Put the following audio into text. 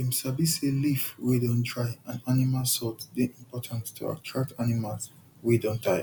dem sabi say leaf wey don dry and animal salt dey important to attract animals wey don tire